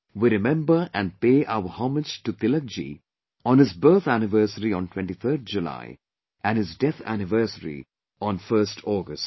We remember and pay our homage to Tilak ji on his birth anniversary on 23rd July and his death anniversary on 1st August